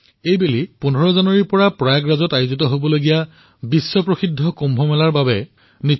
এইবাৰ ১৫ জানুৱাৰীৰ পৰা প্ৰয়াগৰাজত বিশ্ব প্ৰসিদ্ধ কুম্ভ মেলা আৰম্ভ হব